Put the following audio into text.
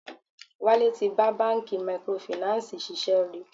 Wálé tí bá bánkì microfinancii ṣiṣẹ́ rí.